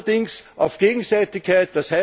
Allerdings auf Gegenseitigkeit.